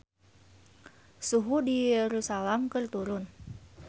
Suhu di Yerusalam keur turun